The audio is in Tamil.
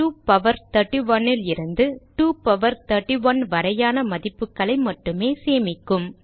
2 பவர் 31 லிருந்து 2 பவர் 31 வரையான மதிப்புகளை மட்டுமே சேமிக்கும்